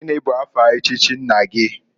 Gini bụ afa echichi nna gi?